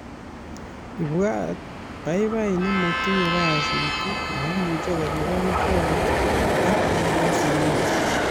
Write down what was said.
ibwat babait ne matinye kasit maimuche kolipan kot ak che bo sukul